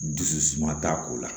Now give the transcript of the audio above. Dusu suma t'a ko la